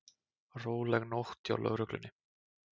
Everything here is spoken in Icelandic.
Róleg nótt hjá lögreglunni